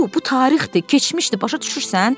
Bu, bu tarixdir, keçmişdir, başa düşürsən?